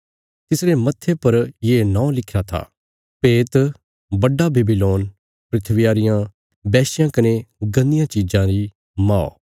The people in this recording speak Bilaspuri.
तिसरे मत्थे पर ये नौं लिखिरा था भेत बड्डा बेबीलोन धरतिया रियां वैश्यां कने गन्दियां चिज़ां री मौ